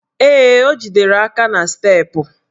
Ee, o jidere aka n' steepụ